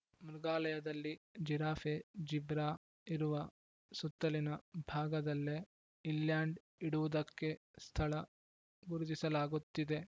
ಮೃಗಾಲಯದಲ್ಲಿ giraffe zebra ಇರುವ ಸುತ್ತಲಿನ ಭಾಗದಲ್ಲೇ ಇಲ್ಯಾಂಡ್‌ ಇಡುವುದಕ್ಕೆ ಸ್ಥಳ ಗುರುತಿಸಲಾಗುತ್ತಿದೆ